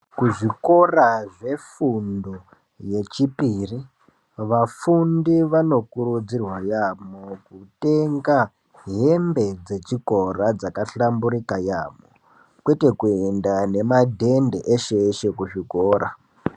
Kuzvikora zvefundo yechipiri vafundi Vanokurudzirwa yambo kutenga hembe yakahlamburika yambo nemadhende eshe eshe muzvikora.